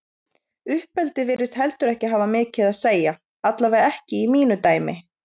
Uppeldi virðist heldur ekki hafa mikið að segja, allavega ekki í mínu dæmi.